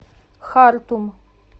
хартум